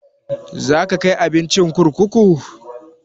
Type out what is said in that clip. Za ka kai abincin kurkuku?